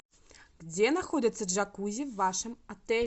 где находится джакузи в вашем отеле